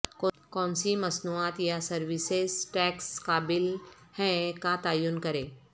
کونسی مصنوعات یا سروسز ٹیکس قابل ہیں کا تعین کریں